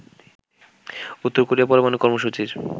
উত্তর কোরিয়ার পরমাণু কর্মসূচির